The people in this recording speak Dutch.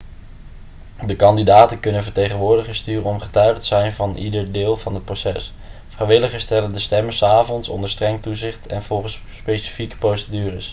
de kandidaten kunnen vertegenwoordigers sturen om getuige te zijn van ieder deel van het proces vrijwilligers tellen de stemmen s avonds onder streng toezicht en volgens specifieke procedures